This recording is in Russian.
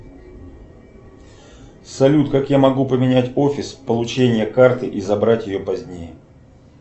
салют как я могу поменять офис получения карты и забрать ее позднее